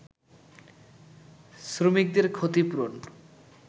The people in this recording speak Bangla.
শ্রমিকদের ক্ষতিপূরণ